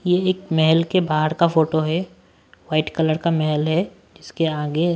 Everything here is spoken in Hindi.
ये एक महल के बाहर का फोटो है वाइट कलर का महल है इसके आगे--